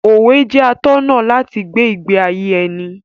Òwe jẹ́ atọ́nà láti gbé ìgbé ayé ẹni.